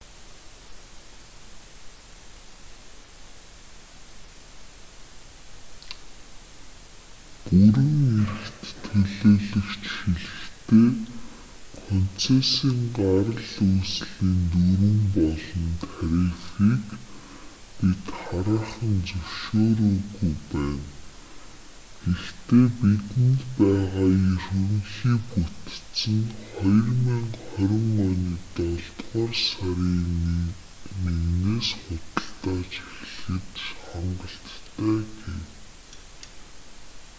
бүрэн эрхт төлөөлөгч хэлэхдээ концессийн гарал үүслийн дүрэм болон тарифыг бид хараахан зөвшөөрөөгүй байна гэхдээ бидэнд байгаа ерөнхий бүтэц нь 2020 оны долдугаар сарын 1-с худалдаалж эхлэхэд хангалттай гэв